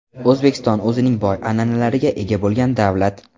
O‘zbekiston o‘zining boy an’analariga ega bo‘lgan davlat.